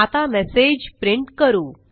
आता message print करू